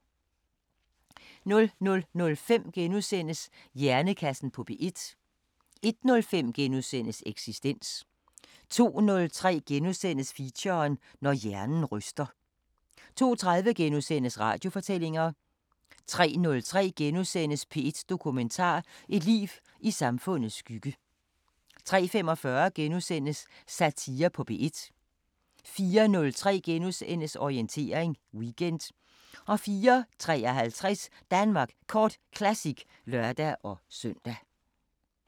00:05: Hjernekassen på P1 * 01:05: Eksistens * 02:03: Feature: Når hjernen ryster * 02:30: Radiofortællinger * 03:03: P1 Dokumentar: Et liv i samfundets skygge * 03:45: Satire på P1 * 04:03: Orientering Weekend * 04:53: Danmark Kort Classic (lør-søn)